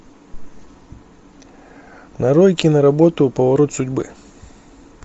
нарой киноработу поворот судьбы